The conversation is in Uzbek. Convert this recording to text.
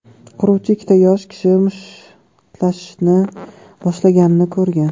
Quruvchi ikkita yosh kishi mushtlashishni boshlaganini ko‘rgan.